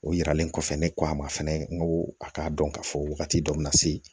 O yiralen kɔfɛ ne ko a ma fɛnɛ n ko a k'a dɔn k'a fɔ wagati dɔ bɛna se